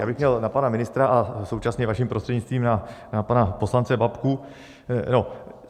Já bych měl na pana ministra a současně, vaším prostřednictvím, na pana poslance Babku.